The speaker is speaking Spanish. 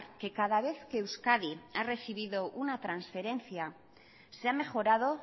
que cada vez que euskadi ha recibido una transferencia se ha mejorado